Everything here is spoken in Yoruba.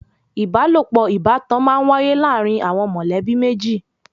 Ìbálòpọ̀ ìbátan má ń wáyé láàrin àwọn mọ̀lẹ́bí méjì.